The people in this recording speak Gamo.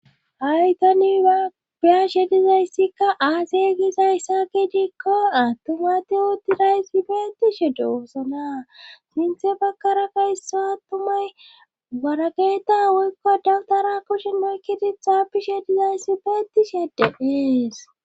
haytani abiyashe dizayssikka aasey gisays saa gi dikko attuma te hutiraysibeetishe doosana sinthe bakara ka ysso attumay warageeta woykko datora kushen maykidi xaapishe dizayssi beeti sheedde ees